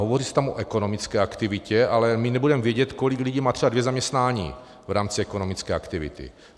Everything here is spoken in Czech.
Hovoří se tam o ekonomické aktivitě, ale my nebudeme vědět, kolik lidí má třeba dvě zaměstnání v rámci ekonomické aktivity.